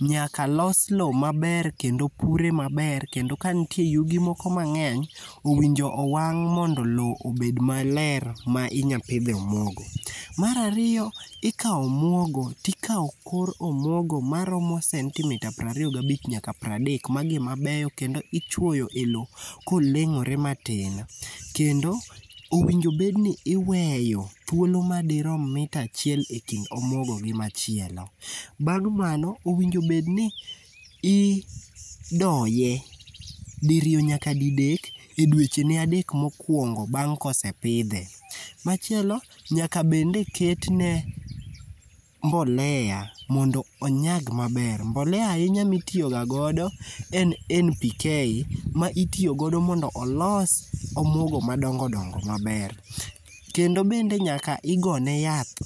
nyaka los lowo maber kendo pure mabe kendo kanitie yugi moko mang'eny owinjo owang' mondo lowo obed maler ma inyalo pidhie omuogo. Mar ariyo ikawo omuogo to ikawo kor omuogo maromo sentimita piero ariy ga bich nyaa piero adek. Magi ema beyo kendo ichuoyo lowo ka noleng'ore matin. Kendo owinjo bedni iweyo thuolo madirom mita achiel ekind omuogo gi machielo, bang' mano winjo bed ni idoye diriyo nyaka didek edweche ne adek mokuongo bang' ka osepidhe. Machielo nyaka bende ketne mbolea mondo onyag maber, mbolea ahinya ma itiyo gagodo en NPK, ma itiyo godo mondo olos omuogo madongo dongo maber. Kende bende nyaka igone yath ,